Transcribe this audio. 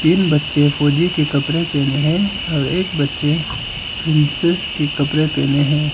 तीन बच्चे फौजी के कपड़े पहने हैं और एक बच्चे प्रिंसेस के कपड़े पहने हैं।